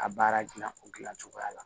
A baara dilan o dilan cogoya la